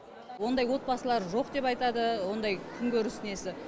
ондай отбасылар жоқ деп айтады ондай күнкөріс несі